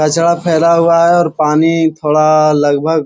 कचरा फैला हुआ है और पानी थोड़ा लगभग --